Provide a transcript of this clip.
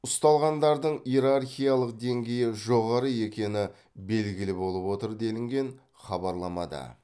ұсталғандардың иерархиялық деңгейі жоғары екені белгілі болып отыр делінген хабарламада